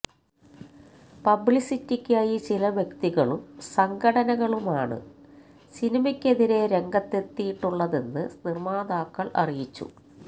പബ്ലിസിറ്റിക്കായി ചില വ്യക്തികളും സംഘടനകളുമാണ് സിനിമയ്ക്കെതിരെ രംഗത്തെത്തിയിട്ടുളളതെന്ന് നിര്മ്മാതാക്കള് അറിയിച്ചു